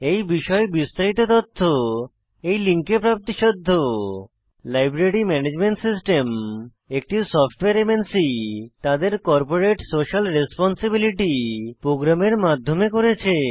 এই বিষয়ে বিস্তারিত তথ্য এই লিঙ্কে প্রাপ্তিসাধ্য লাইব্রেরি ম্যানেজমেন্ট সিস্টেম একটি সফ্টওয়্যার এমএনসি তাদের কর্পোরেট সোশিয়াল রেসপন্সিবিলিটি প্রোগ্রামের মাধ্যমে করেছে